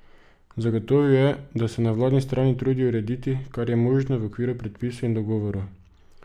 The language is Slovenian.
Zagotovil je, da se na vladni strani trudijo urediti, kar je možno, v okviru predpisov in dogovorov.